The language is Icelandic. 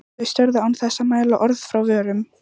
Þau störðu án þess að mæla orð frá vörum.